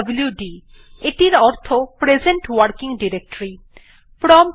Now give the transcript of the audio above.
পিডব্লুড অর্থে present working directory বোঝায়